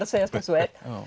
að segjast eins og